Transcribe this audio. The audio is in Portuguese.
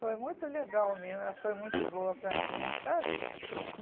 Foi muito legal mesmo, ela foi muito boa para mim, sabe?